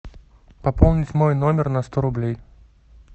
пополнить мой номер на сто рублей